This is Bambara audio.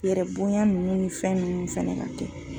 U yɛrɛ bonya nunnu ni fɛn nunnu fɛnɛ ka kɛ.